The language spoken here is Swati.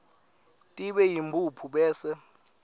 tibe yimphuphu bese